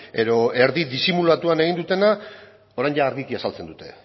edo erdi disimulatuan egin dutena orain argiki azaltzen dute